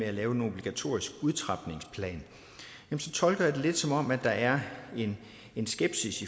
at lave en obligatorisk udtrapningsplan tolker jeg det lidt som om der er en skepsis